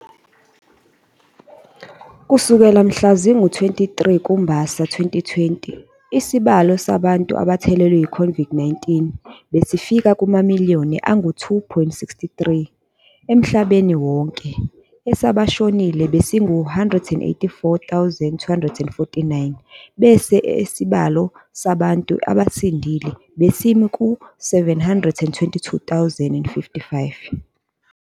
Kusukela mhla zingu-23 kuMbasa 2020, isibala sabantu abathelelwe i-COVID-19 besifika kumamiliyoni angu-2.63 emhlabeni wonke, esabashonile besingu-184,249 bese isibalo sabantu abasindile besimi ku-722,055.